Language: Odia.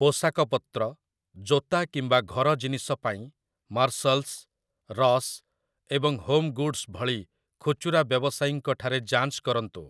ପୋଷାକପତ୍ର, ଜୋତା କିମ୍ବା ଘର ଜିନିଷ ପାଇଁ 'ମାର୍ଶଲ୍‌ସ୍‌ ', 'ରସ୍' ଏବଂ 'ହୋମ୍‍ଗୁଡ୍‍‌ସ୍' ଭଳି ଖୁଚୁରା ବ୍ୟବସାୟୀଙ୍କଠାରେ ଯାଞ୍ଚ କରନ୍ତୁ ।